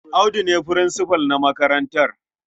Audu ne furinsifal na makarantar.